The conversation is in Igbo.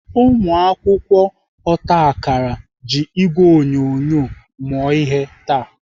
Ụmụakwụkwọ otakara ji ìgwè onyonyo mụọ ihe taa.